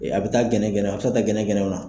A bɛ taa gɛnɛgɛnɛw a bɛ se ka taa gɛnɛgɛnɛw na.